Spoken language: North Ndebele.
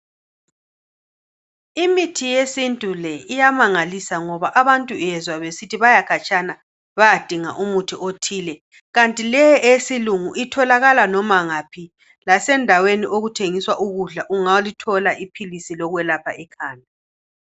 Imithi yesintu le iyamangalisa ngoba abantu uyezwa besithi baya khatshana bayadinga umuthi othile kanti leye eyesilungu itholakala loba ngaphi lasendaweni okuthengiswa ukudla usungayithola iphilisi lokwelapha ikhanda.